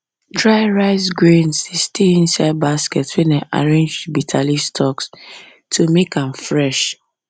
dry rice grains dey stay inside basket wey dem arrange with bitterleaf stalks to make am fresh